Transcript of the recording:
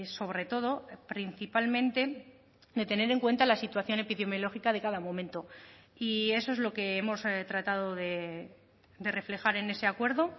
sobre todo principalmente de tener en cuenta la situación epidemiológica de cada momento y eso es lo que hemos tratado de reflejar en ese acuerdo